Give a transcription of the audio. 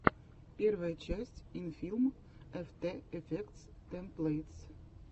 первая часть инфилм эфтэ эфектс тэмплэйтс